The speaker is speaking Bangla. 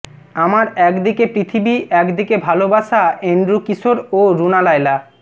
আমার একদিকে পৃথিবী একদিকে ভালোবাসা এন্ড্রু কিশোর ও রুনা লায়লা